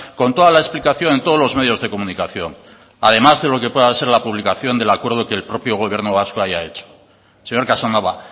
con toda la explicación en todos los medios de comunicación además de lo que pueda de ser la publicación del acuerdo que el propio gobierno vasco haya hecho señor casanova